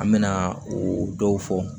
An mɛna o dɔw fɔ